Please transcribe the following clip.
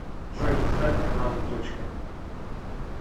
джой поставь каналы точка